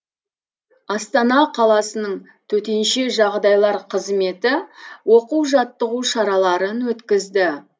астана қаласының төтенше жағдайлар қызметі оқу жаттығу шараларын өткізді